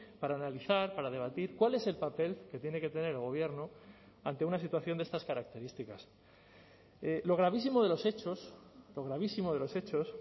para analizar para debatir cuál es el papel que tiene que tener el gobierno ante una situación de estas características lo gravísimo de los hechos lo gravísimo de los hechos